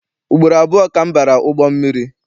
Ugboro abụọ ka m bara ụgbọ mmiri.